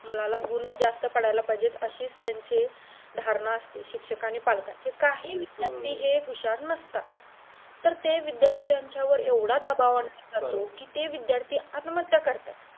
मुलाला गुण जास्त पडायला पाहिजेत अशीच त्यांची धारणा असते शिक्षक आणि पालकांची काही विद्दार्थी हे हुशार नसतात तर ते विद्दार्थ्यांच्यावर एवढा दबाव आनला जातो कि ते विद्दार्थी आत्महत्या करतात